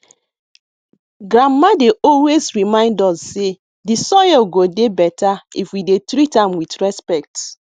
grandma dey always remind us say de soil go dey better if we dey treat am with respect